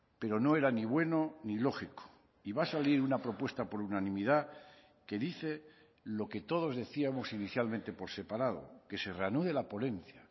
pero no era ni bueno ni lógico y va a salir una propuesta por unanimidad que dice lo que todos decíamos inicialmente por separado que se reanude la ponencia